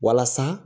Walasa